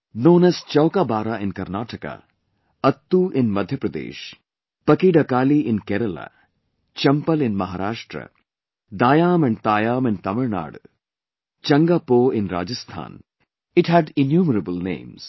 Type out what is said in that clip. Known as Chowkabara in Karnataka, Attoo in Madhya Pradesh, Pakidakaali in Kerala, Champal in Maharashtra, Daayaam and Thaayaam in Tamilnadu, Changaa Po in Rajasthan, it had innumerable names